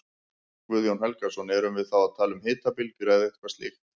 Guðjón Helgason: Erum við þá að tala um hitabylgjur eða eitthvað slíkt?